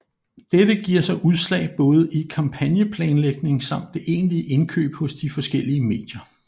Dette giver sig udslag både i kampagneplanlægning samt det egentlige indkøb hos de forskellige medier